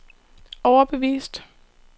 overbevist